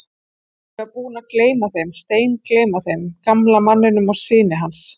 Ég var búinn að gleyma þeim, steingleyma þeim, gamla manninum og syni hans.